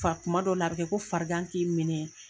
Fa kuma dɔw la, a bɛ kɛ ko farigan k'i minɛ,